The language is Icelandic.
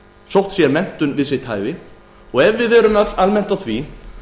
sótt sér menntun við sitt hæfi ef við erum almennt á því